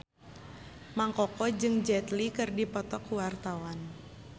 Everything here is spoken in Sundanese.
Mang Koko jeung Jet Li keur dipoto ku wartawan